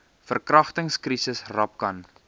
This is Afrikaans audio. verkragtings krisis rapcan